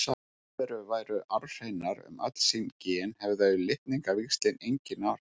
Ef lífverur væru arfhreinar um öll sín gen hefðu litningavíxlin engin áhrif.